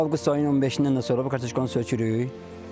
Avqust ayının 15-dən də sonra bu kartoşkanı sökürük.